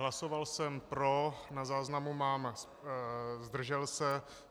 Hlasoval jsem pro, na záznamu mám zdržel se.